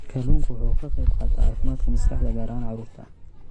Kalluunku waxa uu ka qayb qaataa caafimaadka maskaxda, gaar ahaan carruurta.